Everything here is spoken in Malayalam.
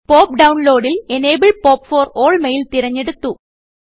പോപ്പ് ഡൌൺലോഡ് ൽ enable pop for all mail തിരഞ്ഞെടുത്തു